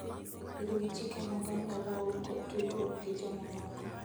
Luw chike mag anyuolau kod tudruok gi jomamoko.